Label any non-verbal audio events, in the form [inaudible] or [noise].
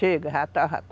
Chega, já está [unintelligible]